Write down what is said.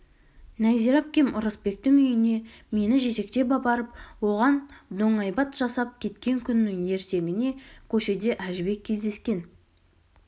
нәзира әпкем ырысбектің үйіне мені жетектеп апарып оған доңайбат жасап кеткен күннің ертеңіне көшеде әжібек кездескен